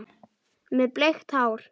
Með bleikt hár.